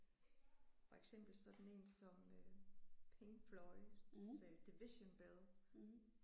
For eksempel sådan en som Pink Floyds Division Bell